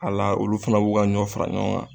A la olu fana b'u ka ɲɔ fara ɲɔgɔn kan